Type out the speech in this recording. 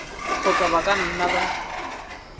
kgotsa ba ka nna ba